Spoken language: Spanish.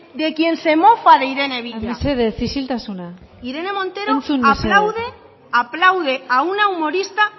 de quien se mofa de irene villa mesedez isiltasuna entzun mesedez irene montero aplaude aplaude a una humorista